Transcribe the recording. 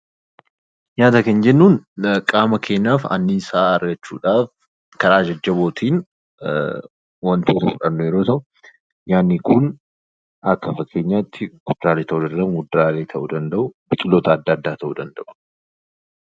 Nyaata kan jennuun qaama keenyaaf annisaa argachuu dhaaf karaa jajjaboo tiin wantoota fudhannu yeroo ta'u, nyaanni kun akka fakkeenyaatti kuduraalee ta'uu danda'u, muduraalee ta'uu danda'uu, biqiloota adda addaa ta'uu danda'u.